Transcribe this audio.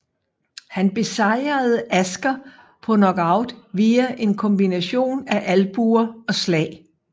Han besejrede Asker på knockout via en kombination af albuer og slag